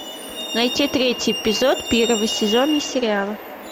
найти третий эпизод первого сезона сериала